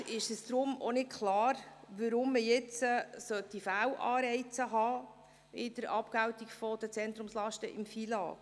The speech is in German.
Dem Regierungsrat ist deshalb nicht klar, weshalb man jetzt im FILAG Fehlanreize bei der Abgeltung der Zentrumslasten haben sollte.